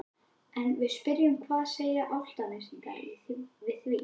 En við spyrjum hvað segja Álftnesingar við því?